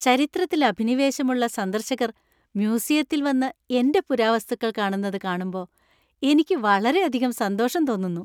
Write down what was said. ചരിത്രത്തിൽ അഭിനിവേശമുള്ള സന്ദർശകർ മ്യൂസിയത്തിൽ വന്ന് എന്‍റെ പുരാവസ്തുക്കൾ കാണുന്നത് കാണുമ്പോ എനിക്കത് വളരെയധികം സന്തോഷം തോന്നുന്നു.